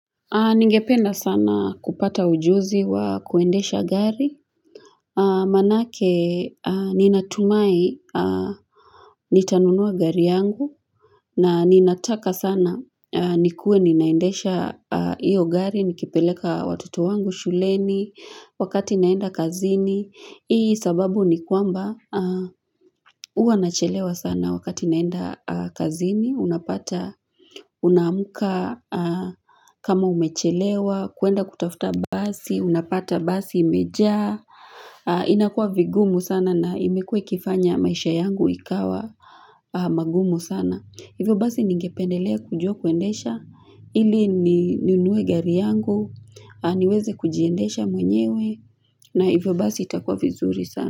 Ningependa sana kupata ujuzi wa kuendesha gari, manake ninatumai nitanunua gari yangu, na ninataka sana nikuwe ninaendesha iyo gari, nikipeleka watoto wangu shuleni, wakati naenda kazini, Hii sababu ni kwamba Huwa nachelewa sana wakati naenda kazini, unapata, unaamka kama umechelewa, kuenda kutafuta basi, unapata basi imejaa, inakuwa vigumu sana na imekuwa ikifanya maisha yangu ikawa magumu sana. Hivyo basi ningependelea kujua kuendesha, ili ni nunue gari yangu, niweze kujiendesha mwenyewe, na hivyo basi itakuwa vizuri sana.